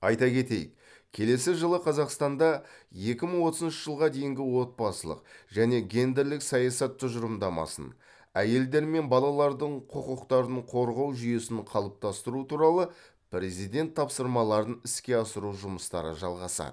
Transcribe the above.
айта кетейік келесі жылы қазақстанда екі мың отызыншы жылға дейінгі отбасылық және гендерлік саясат тұжырымдамасын әйелдер мен балалардың құқықтарын қорғау жүйесін қалыптастыру туралы президент тапсырмаларын іске асыру жұмыстары жалғасады